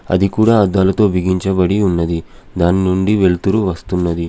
అది కూడా అద్దాలతో బిగించబడి ఉన్నది. దాని నుండి వెలుతురు వస్తున్నది.